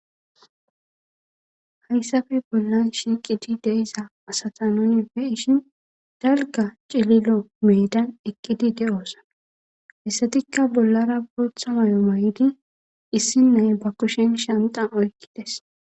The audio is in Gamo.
Hayssafe bollan shiiqiti deiza asata nunife ishin dalga cililo meedan eqqidi de7osana hessatikka bollara bootha mayo may7di issi nay ba kushen shantan oykkides